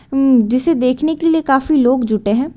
उम् जिसे देखने के लिए काफी लोग जुटे हैं।